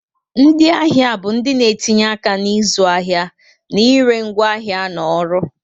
Ndị ahịa bụ ndị na-etinye aka na ịzụ ahịa na ire ngwaahịa na ọrụ